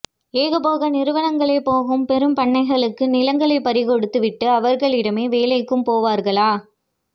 ஏகபோக நிறுவனங்களாகப்போகும் பெரும் பண்ணைகளுக்கு நிலங்களைப் பறிகொடுத்து விட்டு அவர்களிடமே வேலைக்கும் போவார்களா